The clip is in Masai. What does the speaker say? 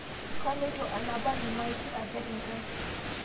Koloito anapar lmaiti aper nkang